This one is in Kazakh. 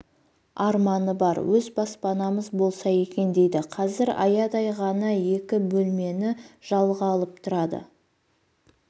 арманы бар өз баспанамыз болса екен дейді қазір аядай ғана екі бөлмені жалға алып тұрады